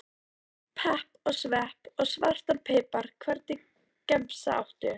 Pepp og svepp og svartan pipar Hvernig gemsa áttu?